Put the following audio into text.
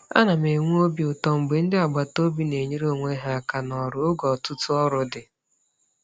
Ana m enwe obi ụtọ mgbe ndị agbataobi na-enyere onwe ha aka n'ọrụ oge ọtụtụ ọrụ dị.